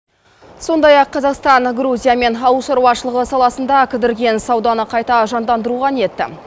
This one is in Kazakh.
сондай ақ қазақстан грузиямен ауыл шаруашылығы саласында кідірген сауданы қайта жандандыруға ниетті